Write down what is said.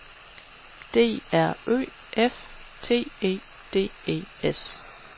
D R Ø F T E D E S